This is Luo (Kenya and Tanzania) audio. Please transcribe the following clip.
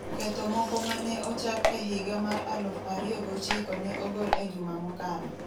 Ketho moko ma ne ochak e higa mar aluf ariyo gochiko ne ogol e juma mokalo.